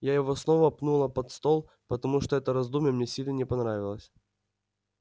я его снова пнула под стол потому что это раздумье мне сильно не понравилось